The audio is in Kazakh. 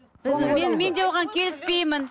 мен де оған келіспеймін